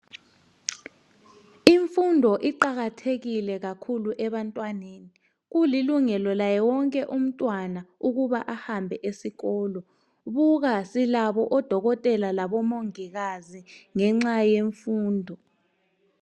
Imfundo iqakathekile kakhulu ebantwaneni, kulilungelo laye wonke ukuba ahambe esikolo, buka silabo oDokotela laboMongikazi ngenxa yemfundo.